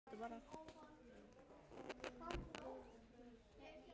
Svona var þetta bara.